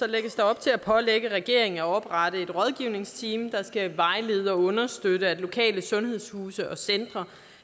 lægges der op til at pålægge regeringen at oprette et rådgivningsteam der skal vejlede og understøtte at lokale sundhedshuse og centre